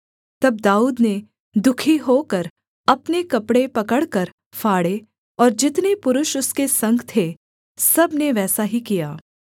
तब दाऊद ने दुःखी होकर अपने कपड़े पकड़कर फाड़े और जितने पुरुष उसके संग थे सब ने वैसा ही किया